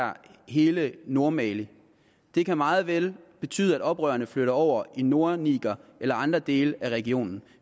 hele nordmali det kan meget vel betyde at oprørerne flytter over i nordniger eller andre dele af regionen